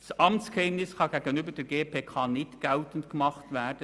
Das Amtsgeheimnis kann gegenüber der GPK nicht geltend gemacht werden;